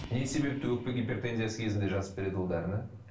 не себепті өкпе гипертензиясы кезінде жазып береді ол дәріні